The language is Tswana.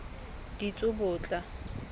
ditsobotla